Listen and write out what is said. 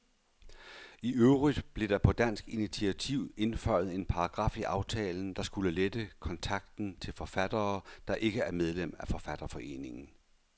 I øvrigt blev der på dansk initiativ indføjet en paragraf i aftalen, der skulle lette kontakten til forfattere, der ikke er medlem af forfatterforeninger.